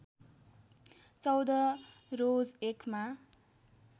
१४ रोज १ मा